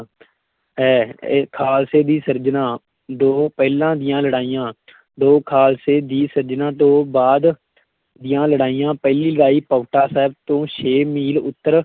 ਹੈ, ਇਹ ਖਾਲਸੇ ਦੀ ਸਿਰਜਨਾ ਤੋਂ ਪਹਿਲਾਂ ਦੀਆਂ ਲੜਾਈਆਂ ਦੋ ਖਾਲਸੇ ਦੀ ਸਿਰਜਨਾ ਤੋਂ ਬਾਅਦ ਦੀਆਂ ਲੜਾਈਆਂ, ਪਹਿਲੀ ਲੜਾਈ ਪਾਉਂਟਾ ਸਾਹਿਬ ਤੋਂ ਛੇ ਮੀਲ ਉੱਤਰ